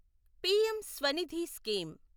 PM Svanidhi scheme